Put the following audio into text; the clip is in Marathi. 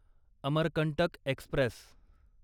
अमरकंटक एक्स्प्रेस